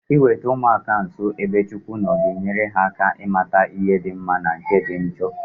Iweta ụmụaka nso ebe Chukwu nọ ga-enyere ha aka ịmata ihe di mma na nke dị njo